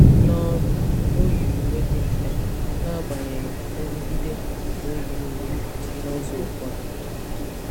N'ọrụ, o yiri uwe dị mfe n'agbanyeghị nrụgide ka o yi uwe n'ụzọ ụfọdụ.